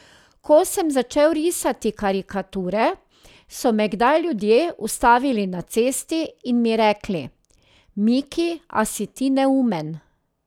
Ko sem začel risati karikature, so me kdaj ljudje ustavili na cesti in mi rekli: 'Miki, a si ti neumen?